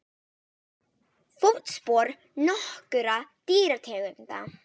Fótspor nokkurra dýrategunda.